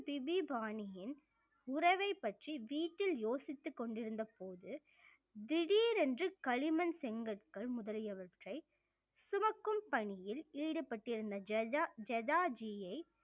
BP பாணியின் உறவைப் பற்றி வீட்டில் யோசித்துக் கொண்டிருந்தபோது திடீரென்று களிமண் செங்கற்கள் முதலியவற்றை சுமக்கும் பணியில் ஈடுபட்டிருந்த ஜஜா~ஜஜா ஜியை